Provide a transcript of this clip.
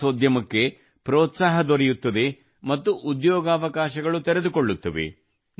ಪ್ರವಾಸೋದ್ಯಮಕ್ಕೆ ಪ್ರೋತ್ಸಾಹ ದೊರೆಯುತ್ತದೆ ಮತ್ತು ಉದ್ಯೋಗಾವಕಾಶಗಳು ತೆರೆದುಕೊಳ್ಳುತ್ತವೆ